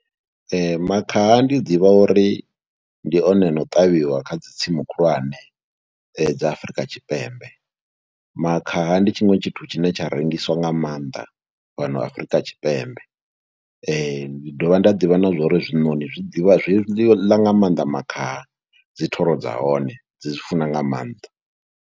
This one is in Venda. Ee, makhaha ndi ḓivha uri ndi one a no ṱavhiwa kha dzi tsimu khulwane dza Afrika Tshipembe. Makhaha ndi tshiṅwe tshithu tshine tsha rengiswa nga maanḓa fhano Afrika Tshipembe, ndi dovha nda ḓivha na zwo ri zwinoni zwi ḓivha, zwi ḽa nga maanḓa makhaha, dzi thoro dza hone, dzi zwi funa nga maanḓa.